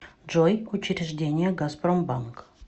джой учреждения газпромбанк